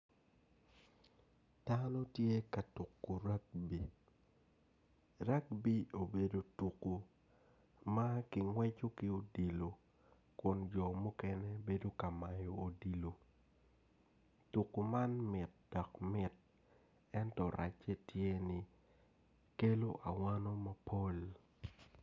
Dano tye katuku rugby, rugby obedo tuku ma kingweco ki odilo kun jo mukene ringo kamayo odilo tuku man mit dok mit ento race tye ni kelo awano mapol